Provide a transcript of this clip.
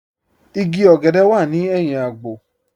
Ìgí ogèdè wà ní èhìn àgbò.